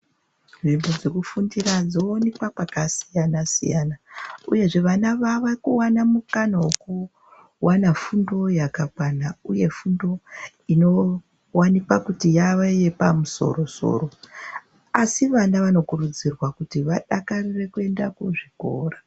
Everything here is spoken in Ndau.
Nzvimbo dzokufundira dzowanikwa kwakasiyana siyana uye vana vava kuwana mukana wekuona fundo yakakwana uye fundo inowanikwa kuti yava yepamusoro musoro asi vana vanokurudzirwa kuti vadakarire kuenda kuzvikora.